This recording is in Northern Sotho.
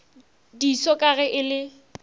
diso ka ge e le